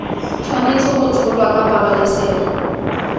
tshwanetse go tsholwa ka pabalesego